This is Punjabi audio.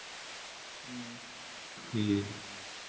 ਠੀਕ।